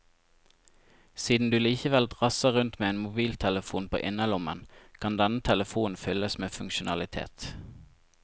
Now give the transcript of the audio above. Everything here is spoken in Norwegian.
Siden du likevel drasser rundt med en mobiltelefon på innerlommen, kan denne telefonen fylles med funksjonalitet.